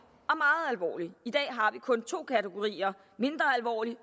i dag har vi kun to kategorier mindre alvorlig